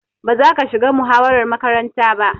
Ba za ka shiga muhawarar makaranta ba.